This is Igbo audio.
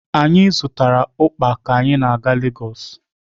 Anyị zụtara ukpa ka anyị na-aga Lagos